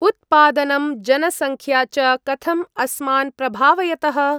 उत्त्पादनं, जनसङ्ख्या च कथं अस्मान् प्रभावयतः?